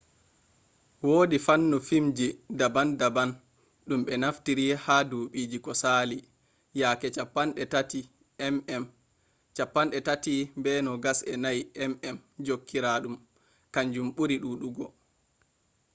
wodi fannu filmji daban-daban dum be naftiri ha dubiiji ko sali. yaake 35 mm 36 be 24 mm jankiraadum kanju buri dudugo